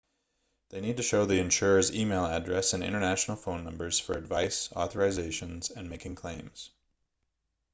they need to show the insurer's e-mail address and international phone numbers for advice/authorizations and making claims